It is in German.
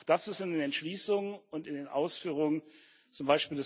Auch das ist in den Entschließungen und in den Ausführungen,